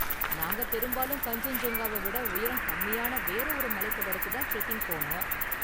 நாங்க பெரும்பாலும் கன்சென்ஜுங்காவ விட உயரம் கம்மியான வேற ஒரு மலைத் தொடருக்கு தான் ட்ரெக்கிங் போனோம்.